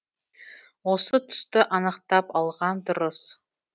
осы тұсты анықтап алған дұрыс